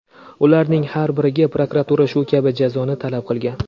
Ularning har biriga prokuratura shu kabi jazoni talab qilgan.